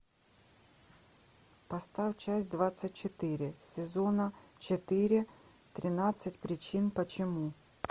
поставь часть двадцать четыре сезона четыре тринадцать причин почему